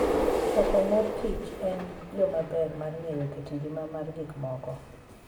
Choko mor kich en yo maber mar ng'eyo kit ngima mar gik moko.